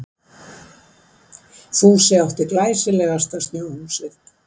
Fúsi átti glæsilegasta snjóhúsið.